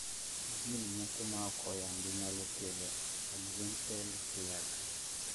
jin moko maok oyangi nyalo kelo Axenfeld-Rieger